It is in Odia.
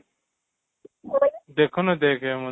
ଦେଖୁନୁ ଦେଖ